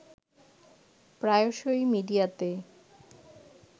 প্রায়শই মিডিয়াতে